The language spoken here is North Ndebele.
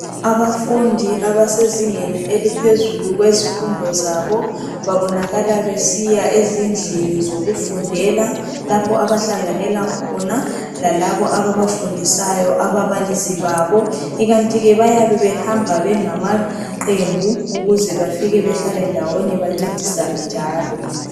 Abafundi abasezingeni eliphezulu kwezifundo zabo babonakala besiya ezindlini zokufundela lapho abahlanganela khona lalabo abafundisayo ababalisi babo ikanti ke bayabe behamba bangamaqembu ukuze bafike behlale ndawonye bancedisane njalo.